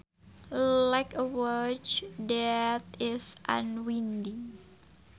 Like a watch that is unwinding